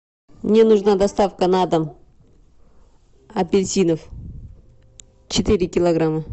мне нужна доставка на дом апельсинов четыре килограмма